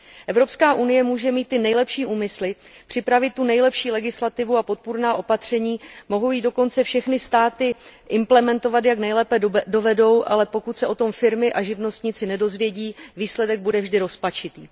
Evropská unie může mít ty nejlepší úmysly, připravit tu nejlepší legislativu a podpůrná opatření, které mohou dokonce všechny státy implementovat, jak nejlépe dovedou, ale pokud se o tom firmy a živnostníci nedozvědí, výsledek bude vždy rozpačitý.